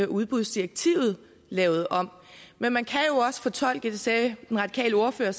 udbudsdirektivet lavet om men man kan jo også fortolke det sagde den radikale ordfører